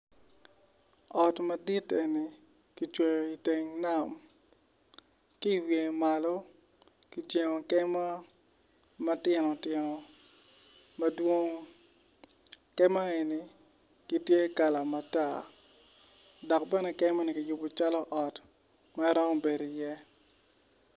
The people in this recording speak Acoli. Ot madit eni kicweyo iteng nam kiiwiye malo kijengo kema matino tino madwong keme eni gitye kala matar dok bene kemani kiyubo calo ot ma iromo bedo i iye